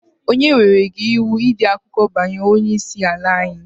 Onye nyere gị iwu ịde akụkọ banyere Onye isi ala anyi?